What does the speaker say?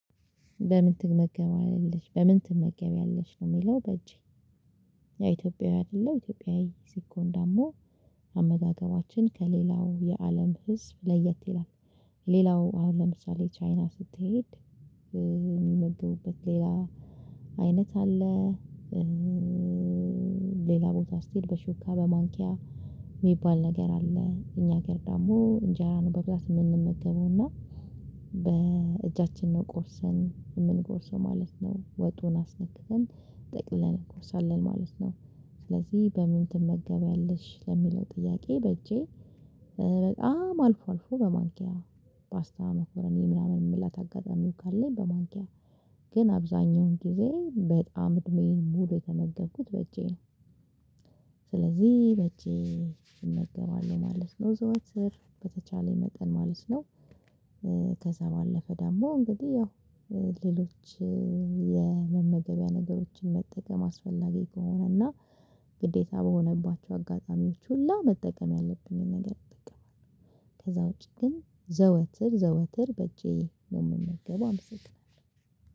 በምን ትመገቢያለሽ? በምን ትመገቢያለሽ? ነው የሚለው በእጄ ኢትዮጵያዊ አይደለሁ ኢትዮጵያዊ ሲኮን ደግሞ አመጋገባችን ከሌላው የአለም ህዝብ ለየት ይላል ሌላው አሁን ለምሳሌ ቻይና ስትሄድ የሚመገቡበት ሌላ አይነት አለ ሌላ ቦታ ስትሄድ በሹካ በማንኪያ ሚባል ነገር አለ። እኛ ሀገር ደግሞ እንጀራ ነው በብዛት የምንመገበው እና በእጃችን ነው ቆርሰን የምንጎርሰው ማለት ነው። ወጡን አስነክተን ጠቅልለን እንጎርሳለን ማለት ነው። ስለዚህ በምን ትመገቢያለሽ? ለሚለው ጥያቄ በእጄ በጣም አልፎ አልፎ በማንኪያ ፓስታ፣ መኮረኒ ምናምን የመብላት አጋጣሚው ካለኝ በማንኪያ ግን አብዛኛውን ጊዜ በጣም እድሜዬን ሙሉ የተመገብኩት በእጄ ነው ስለዚህ በእጄ እመገባለሁ ማለት ነው። ዘወትር በተቻለኝ መጠን ማለት ነው ከዛ ባለፈ ደግሞ እንግዲህ ያው ሌሎች የመመገቢያ ነገሮችን መጠቀም አስፈላጊ ከሆነ እና ግዴታ በሆነባቸው አጋጣሚዎች ሁላ መጠቀም ያለብኝን ነገር እጠቀማለሁ። ከዛ ውጪ ግን ዘወትር ዘወትር በእጄ ነው የምመገበው። አመሰግናለሁ!